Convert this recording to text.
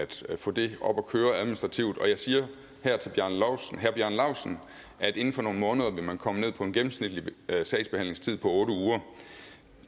til at få det op at køre administrativt og jeg siger her til herre bjarne laustsen at inden for nogle måneder vil man komme ned på en gennemsnitlig sagsbehandlingstid på otte uger